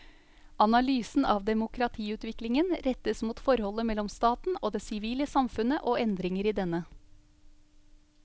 Analysen av demokratiutviklingen rettes mot forholdet mellom staten og det sivile samfunnet og endringer i denne.